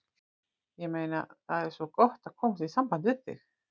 Ég meina. það er svo gott að komast í samband við þig.